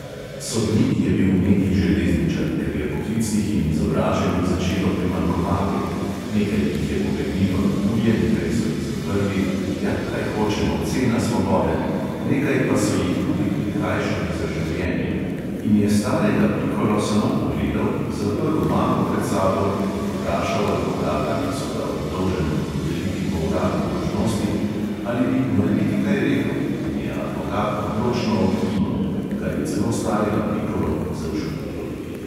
Sodnik je bil neki železničar, ker je poklicnih in izobraženih začelo primanjkovati (nekaj jih je pobegnilo na tuje, nekaj so jih zaprli, ja, kaj hočemo, cena svobode, nekaj pa so jih tudi prikrajšali za življenje), in je starega pikolo samo pogledal, zaprl mapo pred sabo in vprašal advokata, ki so ga obdolženemu dodelili po uradni dolžnosti, ali bi morebiti kaj rekel, in je advokat odločno odkimal, kar je celo starega pikolo začudilo.